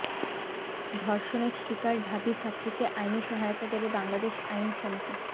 ধর্ষণের শিকার ঢাবি ছাত্রীকে আইনি সহায়তা দেবে বাংলাদেশ আইন সমিতি